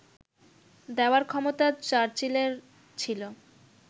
দেওয়ার ক্ষমতা চার্চিলের ছিল